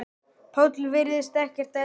Páll virðist ekkert eldast.